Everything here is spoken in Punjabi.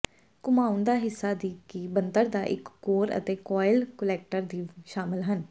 ਘੁੰਮਾਉਣ ਦਾ ਹਿੱਸਾ ਦੀ ਬਣਤਰ ਦਾ ਇੱਕ ਕੋਰ ਅਤੇ ਕੁਆਇਲ ਕੁਲੈਕਟਰ ਵੀ ਸ਼ਾਮਲ ਹਨ